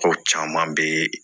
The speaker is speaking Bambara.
Ko caman bɛ